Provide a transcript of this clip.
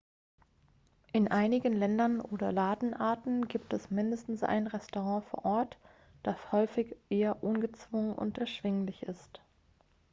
in einigen ländern oder ladenarten gibt es mindestens ein restaurant vor ort das häufig eher ungezwungen und erschwinglich ist